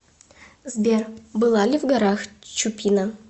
сбер была ли в горах чупина